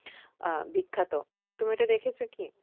আহ বিখ্যাত। তুমি ওটা দেখেছো কি?